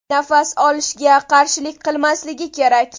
Nafas olishga qarshilik qilmasligi kerak!